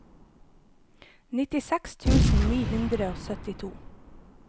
nittiseks tusen ni hundre og syttito